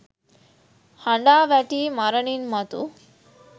හඬා වැටී මරණින් මතු